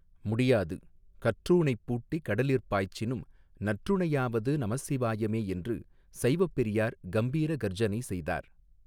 முடியாது கற்றூணைப்பூட்டி கடலிற் பாய்ச்சினும் நற்றுணையாவது நமசிவாயமே என்று சைவப் பெரியார் கம்பீர கர்ஜனை செய்தார்.